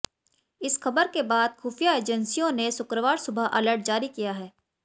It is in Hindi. इस खबर के बाद खुफिया एजेंसियों ने शुक्रवार सुबह अलर्ट जारी किया है